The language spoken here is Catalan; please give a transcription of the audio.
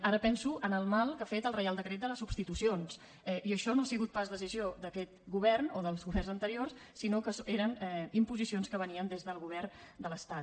ara penso en el mal que ha fet el reial decret de les substitucions i això no ha sigut pas decisió d’aquest govern o dels governs anteriors sinó que eren imposicions que venien des del govern de l’estat